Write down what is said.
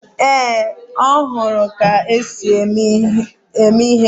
Ee, ọ hụrụ ka m na-ese ihe ụnyaahụ